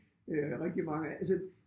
Øh rigtig mange altså